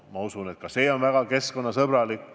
Usun, et seegi oleks väga keskkonnasõbralik.